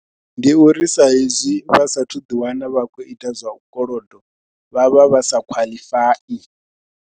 Ndi uri sa hezwi vha sasthu ḓiwana vha khou ita zwa u kolodo vha vha vha sa khwaḽifai.